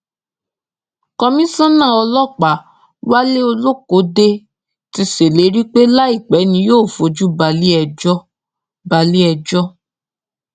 kọmísánnà ọlọ́pàá wálé olókódé ti ṣèlérí pé láìpẹ ni yóò fojú balé ẹjọ́ balé ẹjọ́